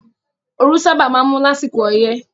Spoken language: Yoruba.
Ooru sábà máa ń mú lásìkò ọyẹ́